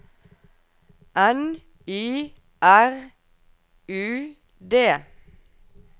N Y R U D